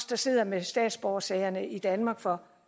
der sidder med statsborgersagerne i danmark for